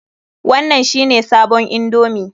Wannan shi ne sabon indomi?